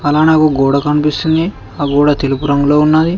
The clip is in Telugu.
మనకు గోడ కనిపిస్తుంది ఆ గోడ తెలుపు రంగులో ఉన్నది.